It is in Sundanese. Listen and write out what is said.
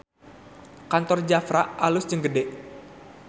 Kantor Jafra alus jeung gede